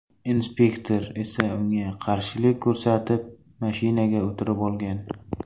Inspektor esa unga qarshilik ko‘rsatib, mashinaga o‘tirib olgan.